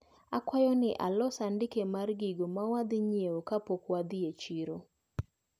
Akwayo ni alos andike mar gigo mawadhi nyiewo kapok wadhi e chiro.